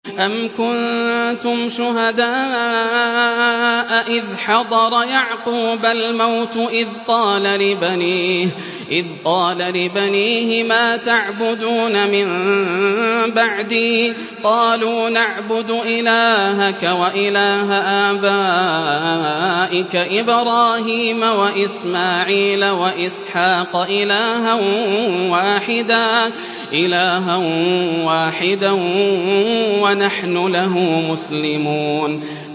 أَمْ كُنتُمْ شُهَدَاءَ إِذْ حَضَرَ يَعْقُوبَ الْمَوْتُ إِذْ قَالَ لِبَنِيهِ مَا تَعْبُدُونَ مِن بَعْدِي قَالُوا نَعْبُدُ إِلَٰهَكَ وَإِلَٰهَ آبَائِكَ إِبْرَاهِيمَ وَإِسْمَاعِيلَ وَإِسْحَاقَ إِلَٰهًا وَاحِدًا وَنَحْنُ لَهُ مُسْلِمُونَ